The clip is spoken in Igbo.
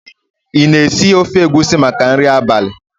ị na-esi ofe egusi maka nri abalị?